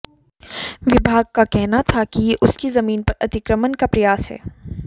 विभाग का कहना था कि ये उसकी जमीन पर अतिक्रमण का प्रयास है